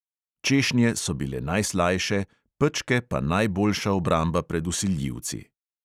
Češnje so bile najslajše, pečke pa najboljša obramba pred vsiljivci.